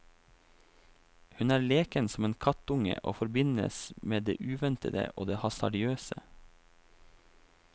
Hun er leken som en kattunge og forbindes med det uventede og det hasardiøse.